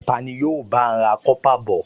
Ta ni yóò bá a ra kọ́pà bọ̀?